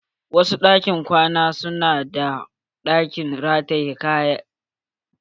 Wasu ɗakin kwana su na da ɗakin rataye tufafi